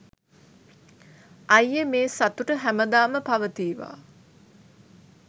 අයියෙ මේ සතුට හැමදාම පවතීවා